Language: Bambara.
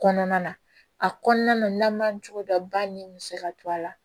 Kɔnɔna na a kɔnɔna na n'an man cogo dɔn ba min bɛ se ka to a la